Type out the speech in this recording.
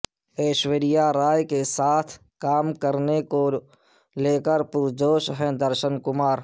ایشوریا رائے کے ساتھ کام کرنے کو لے پرجوش ہیں درشن کمار